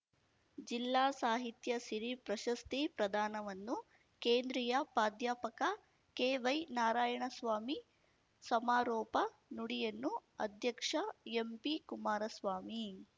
ಜಿಲ್ಲಾ ಸಾಹಿತ್ಯ ಸಿರಿ ಪ್ರಶಸ್ತಿ ಪ್ರದಾನವನ್ನು ಕೇಂದ್ರಿಯ ಪಾಧ್ಯಾಪಕ ಕೆವೈ ನಾರಾಯಣಸ್ವಾಮಿ ಸಮಾರೋಪ ನುಡಿಯನ್ನು ಅಧ್ಯಕ್ಷ ಎಂಪಿ ಕುಮಾರಸ್ವಾಮಿ